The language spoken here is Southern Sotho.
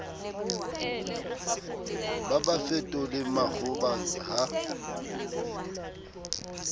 ba ba fetole makgoba ha